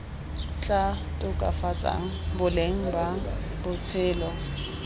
tla tokafatsang boleng ba botshelo